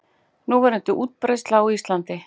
Núverandi útbreiðsla á Íslandi